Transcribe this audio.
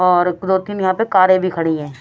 और दो तीन यहाँ पे कारें भी खड़ी हैं ।